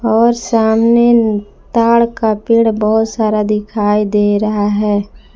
और सामने ताड़ का पेड़ बहुत सारा दिखाई दे रहा है।